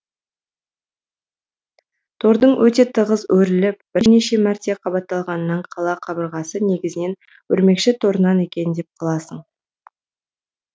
тордың өте тығыз өріліп бірнеше мәрте қабатталғанынан қала қабырғасы негізінен өрмекші торынан екен деп қаласың